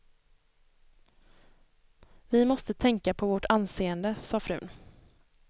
Vi måste tänka på vårt anseende, sa frun.